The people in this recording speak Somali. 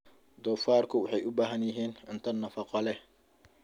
Doofaarku waxay u baahan yihiin cunto nafaqo leh.